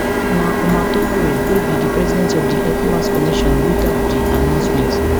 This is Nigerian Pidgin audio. na omar touray wey be di president of di ecowas commission read out di announcement